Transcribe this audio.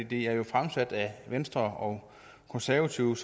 det er jo fremsat af venstre og konservative